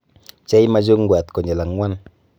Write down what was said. Bchey machungwaat konyil ang'wan.